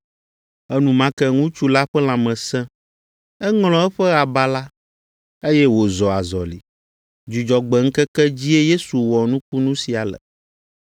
Enumake ŋutsu la ƒe lãme sẽ. Eŋlɔ eƒe aba la, eye wòzɔ azɔli. Dzudzɔgbe ŋkeke dzie Yesu wɔ nukunu sia le.